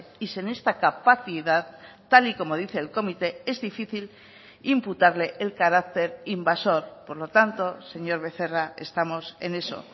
y sin esta capacidad tal y como dice el comité es difícil imputarle el carácter invasor por lo tanto señor becerra estamos en eso